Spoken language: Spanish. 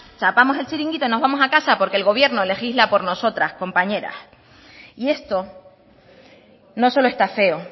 chapamos el chiringuito y nos vamos a casa porque el gobierno legisla por nosotras compañeras y esto no solo está feo